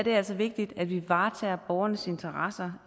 altså vigtigt at vi varetager borgernes interesser